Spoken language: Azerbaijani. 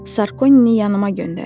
Sarkonini yanıma göndərin.